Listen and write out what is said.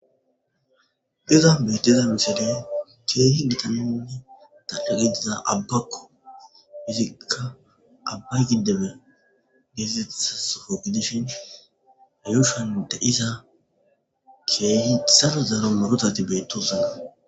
Iiza bettiza misedey keehi gitaninni tadage diza abbakko fizikka abba gideme geesethasofo gidishin ayushan de'sa keehi txalo zaro morotati beettosana.